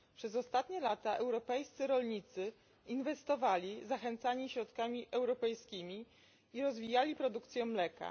Przez ostatnie lata europejscy rolnicy inwestowali zachęcani środkami europejskimi i rozwijali produkcję mleka.